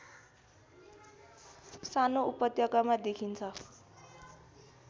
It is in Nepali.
सानो उपत्यकामा देखिन्छ